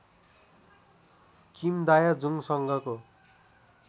Kim Dae जुंगसँगको